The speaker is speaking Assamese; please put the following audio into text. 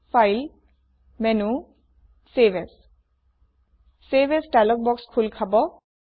file menu save as save as dialog box খোল খাব